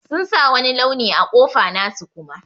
Sun sa wani launi a kofa nasu Kuma.